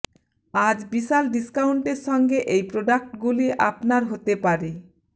আজ বিশাল ডিস্কাউন্টের সঙ্গে এই প্রোডাক্ট গুলি আপনার হতে পারে